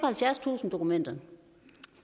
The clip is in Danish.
halvfjerdstusind dokumenter